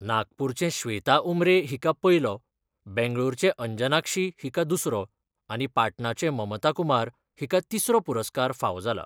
नागपूरचें श्वेता उमरे हिका पयलो बंगळुरूचे अंजनाक्षी हिका दुसरो आनी पाटणाचें ममता कुमार हिका तिसरो पुरस्कार फावो जालो.